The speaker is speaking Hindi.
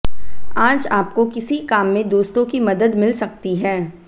आज आपको किसी काम में दोस्तों की मदद मिल सकती है